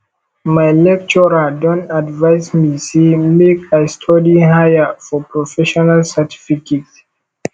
my lecturer don advice me say make i study higher for professional certificate